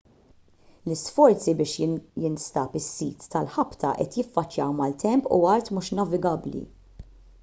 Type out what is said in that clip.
l-isforzi biex jinstab is-sit tal-ħabta qed jiffaċċjaw maltemp u art mhux navigabbli